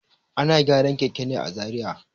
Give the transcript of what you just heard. Ana gyaran keken ne a Zariya.